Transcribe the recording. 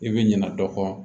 I bɛ ɲina dɔ kɔ